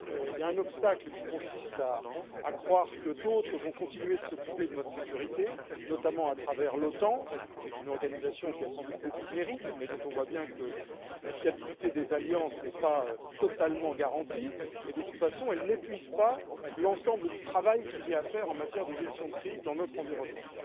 Il y a un obstacle qui consiste à croire que d'autres vont continuer de s'occuper de notre sécurité, notamment à travers l'OTAN, qui est une organisation qui a sans doute beaucoup de mérites, mais dont on voit bien que la fiabilité des alliances n'est pas totalement garantie, et, de toute façon, elle n'épuise pas l'ensemble du travail qu'il y a à faire en matière de gestion de crise dans notre environnement.